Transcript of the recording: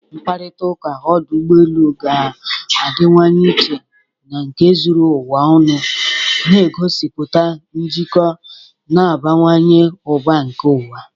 Mkparịta ụka ọdụ ụgbọ elu ga-adịwanye iche na nke zuru ụwa ọnụ, na-egosipụta njikọ na-abawanye ụba nke ụwa